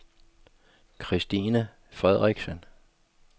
Kristine Frederiksen